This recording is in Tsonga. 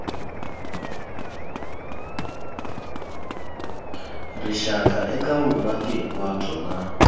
rixaka eka vumaki hinkwabyo na